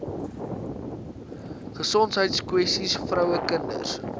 gesondheidskwessies vroue kinders